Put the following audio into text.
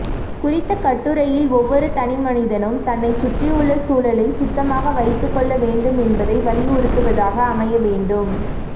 குறித்த கட்டுரையில் ஒவ்வொரு தனிமனிதனும் தன்னை சுற்றியுள்ள சூழலை சுத்தமாக வைத்துக் கொள்ள வேண்டும் என்பதை வழியுறுத்துவதாக அமைய வேண்டும்